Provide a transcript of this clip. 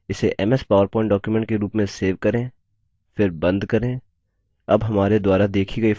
इसे ms power point document के रूप में सेव करें फिर बंद करें